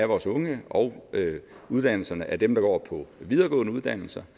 vores unge og uddannelse af dem der går på videregående uddannelser